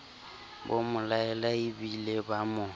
bo mo laelaebile bo mo